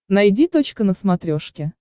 найди точка на смотрешке